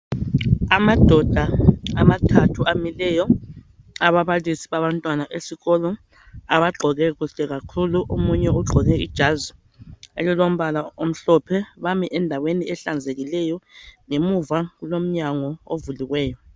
Andoda amathathu amileyo, ababalisi babantwana esikolo, abagqoke kuhle kakhulu, omunye ugqoke ijazi elilimbala olimhlophe. Bami endaweni ehlanzekileyo ngemuva kulomnyango ovuliveyo.